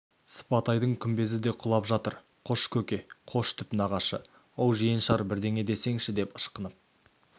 сыпатайдың күмбезі де құлап жатыр қош көке қош түп нағашы оу жиеншар бірдеңе десеңші деп ышқынып